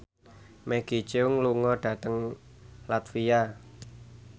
Maggie Cheung lunga dhateng latvia